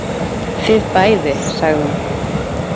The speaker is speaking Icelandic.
Þið bæði, sagði hún.